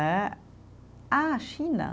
Né, ah, China.